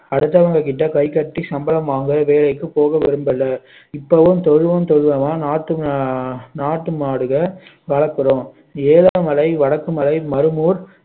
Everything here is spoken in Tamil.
அடுத்தவங்க கிட்ட கைகட்டி சம்பளம் வாங்குற வேலைக்கு போக விரும்பல இப்போவும் தொழுவும் தொழுவமா நாட்டு மா~ மாடுகள் வளர்க்கிறோம் ஏலமலை, வடக்கு மலை, மரமூர்